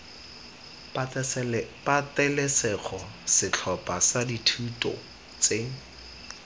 patelesego setlhopha sa dithuto tse